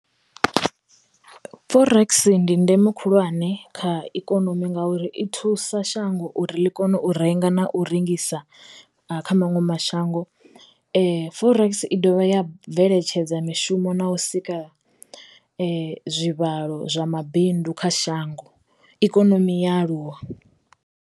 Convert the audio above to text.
Forex ndi ndeme khulwane kha ikonomi ngauri i thusa shango uri ḽi kone u renga na u rengisa kha maṅwe mashango Forex i dovha ya bveledza mishumo na u sika zwivhalo zwa mabindu kha shango ikonomi ya aluwa.